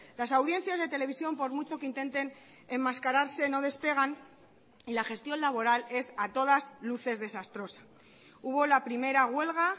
las audiencias de televisión por mucho que intenten enmascararse no despegan y la gestión laboral es a todas luces desastrosa hubo la primera huelga